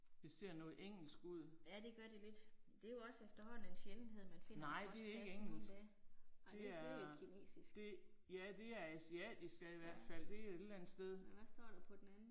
Det ser noget engelsk ud. Nej det er ikke engelsk. Det er, det, ja det er asiatisk ja i hvert fald det er et eller andet sted